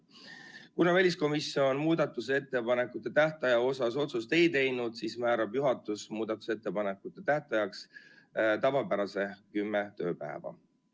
Kuna väliskomisjon muudatusettepanekute tähtaja kohta otsust ei teinud, siis määrab juhatus muudatusettepanekute tähtajaks tavapärase kümme tööpäeva.